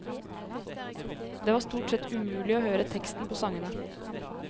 Det var stort sett umulig å høre teksten på sangene.